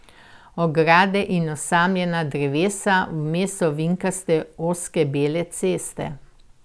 Ograde in osamljena drevesa, vmes ovinkaste ozke bele ceste.